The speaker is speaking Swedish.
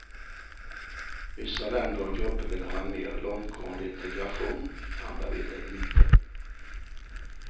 Vissa länder och grupper vill ha en mer långtgående integration, andra vill det inte.